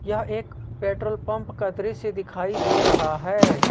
यह एक petrol pump का दृश्य दिखाई दे रहा है।